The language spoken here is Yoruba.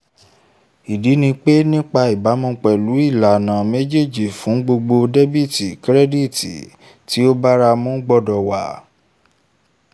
ìdí ni pé ní ìbámu pẹ̀lú ìlànà méjèèjì fún gbogbo dẹ́bìtì kírẹ́díìtì tó báramu gbọ́dọ̀ wà